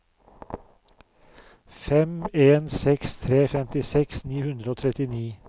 fem en seks tre femtiseks ni hundre og trettini